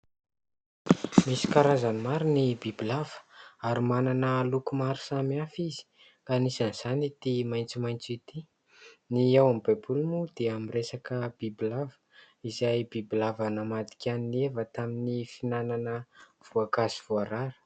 Misy karazany maro ny bibilava ary manana loko maro samihafa izy, ka anisan'izany ity maitsomaitso ity ; ny ao amin'ny baiboly moa dia miresaka bibilava, izay bibilava namadika an'i Eva tamin'ny fihinanana voankazo voarara.